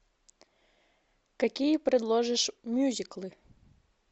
какие предложишь мюзиклы